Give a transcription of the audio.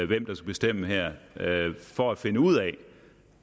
hvem der skal bestemme her for at finde ud af